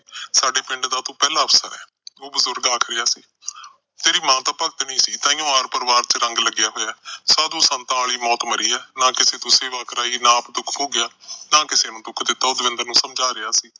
ਸਾਡੇ ਪਿੰਡ ਦਾ ਤੂੰ ਪਹਿਲਾ ਅਫਸਰ ਏ। ਉਹ ਬਜੁਰਗ ਆਖ ਰਿਹਾ ਸੀ। ਤੇਰੀ ਮਾਂ ਤਾਂ ਭਗਤਣੀ ਸੀ, ਤਾਂ ਹੀ ਆਰ-ਪਰਿਵਾਰ ਚ ਰੰਗ ਲੱਗਿਆ ਹੋਇਆ। ਸਾਧੂ-ਸੰਤਾਂ ਆਲੀ ਮੌਤ ਮਰੀ ਆ, ਨਾ ਕਿਸੇ ਤੋਂ ਸੇਵਾ ਕਰਾਈ, ਨਾ ਆਪ ਦੁੱਖ ਭੋਗਿਆ, ਨਾ ਕਿਸੇ ਨੂੰ ਦੁੱਖ ਦਿੱਤਾ, ਉਹ ਦਵਿੰਦਰ ਨੂੰ ਸਮਝਾ ਰਿਹਾ ਸੀ।